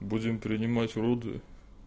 будем принимать роды